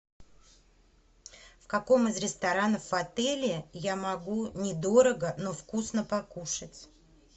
в каком из ресторанов в отеле я могу недорого но вкусно покушать